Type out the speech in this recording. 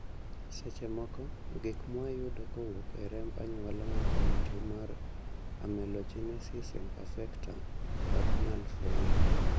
seche moko, gik mwayudo kowuok e remb anyuola ma kelo tuo mar amelogenesis imperfecta ok nyal fweny